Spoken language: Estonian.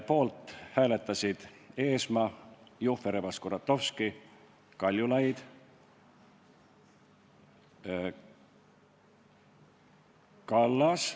Poolt hääletasid Eesmaa, Jufereva-Skuratovski, Kaljulaid, Kallas ...